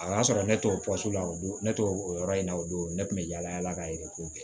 A y'a sɔrɔ ne t'o la o don ne to o yɔrɔ in na o don ne tun bɛ yala yala ka ye k'o kɛ